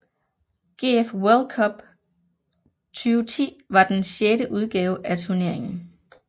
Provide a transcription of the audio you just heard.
GF World Cup 2010 var den sjette udgave af turneringen